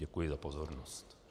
Děkuji za pozornost.